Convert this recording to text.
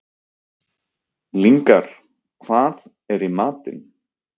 Lyngar, hvað er í matinn?